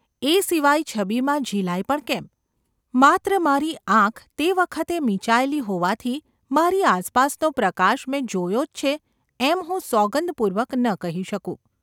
એ સિવાય છબીમાં ઝિલાય પણ કેમ ? માત્ર મારી આંખ તે વખતે મીંચાયેલી હોવાથી મારી આસપાસનો પ્રકાશ મેં જોયો જ છે એમ હું સોગંદ-પૂર્વક ન કહી શકું.